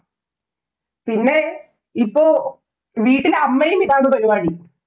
പിന്നെ ഇപ്പൊ വീട്ടില്‍ അമ്മയും ഇതാണ് പരിപാടി.